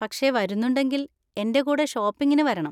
പക്ഷെ വരുന്നുണ്ടെങ്കിൽ എൻ്റെ കൂടെ ഷോപ്പിങ്ങിന് വരണം.